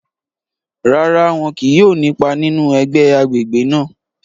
Rárá, wọn kìí yóò ni ipá nínú ẹgbẹ agbègbè náà